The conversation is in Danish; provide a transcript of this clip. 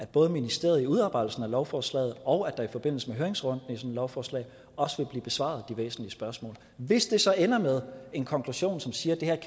både i ministeriet i udarbejdelsen af lovforslaget og i forbindelse med høringsrunden et lovforslag også vil blive besvaret de væsentlige spørgsmål hvis det så ender med en konklusion som siger at